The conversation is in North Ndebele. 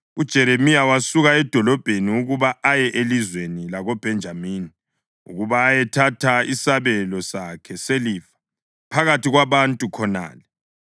uJeremiya wasuka edolobheni ukuba aye elizweni lakoBhenjamini ukuba ayethatha isabelo sakhe selifa phakathi kwabantu khonale.